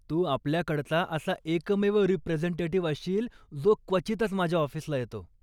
तू आपल्याकडचा असा एकमेव रिप्रेझेंटेटिव्ह असशील, जो क्वचितच माझ्या ऑफिसला येतो.